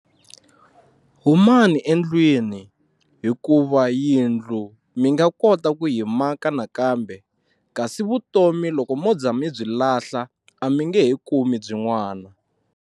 Humani endlwini hikuva yindlu mi nga kota ku yi maka nakambe kasi vutomi loko mo za mi byi lahla a mi nge he kumi byin'wana.